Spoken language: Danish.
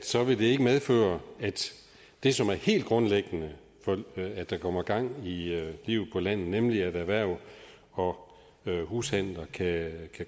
så vil det ikke medføre det som er helt grundlæggende for at der kommer gang i livet på landet nemlig at erhverv og hushandler kan